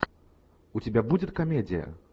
у тебя будет комедия